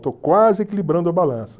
Estou quase equilibrando a balança.